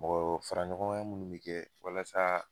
Mɔgɔ faraɲɔgɔnkan minnu mi kɛ walasa